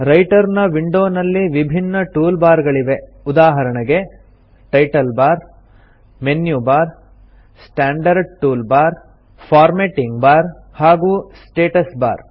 writer ನ ವಿಂಡೋನಲ್ಲಿ ವಿಭಿನ್ನ ಟೂಲ್ ಬಾರ್ ಗಳಿವೆ ಉದಾಹರಣೆಗೆ title bar menu bar standard tool bar formatting bar ಹಾಗೂ ಸ್ಟಾಟಸ್ ಬಾರ್